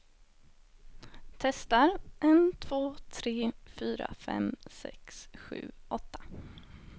Testar en två tre fyra fem sex sju åtta.